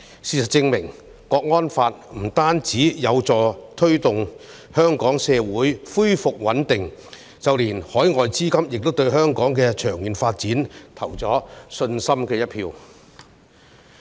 事實證明《香港國安法》不僅有助香港社會恢復穩定，更令海外資金對香港的長遠發展有信心。